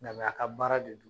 Na ŋa, a ka baara de don.